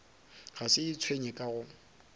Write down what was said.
a se itshwenye ka go